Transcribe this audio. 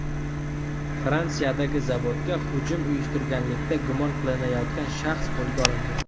Fransiyadagi zavodga hujum uyushtirganlikda gumon qilinayotgan shaxs qo‘lga olindi.